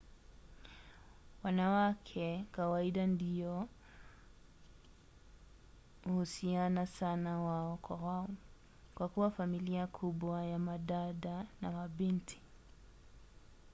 wanawake kawaida ndio uhusiana sana wao kwa wao kwa kuwa familia kubwa ya madada na mabinti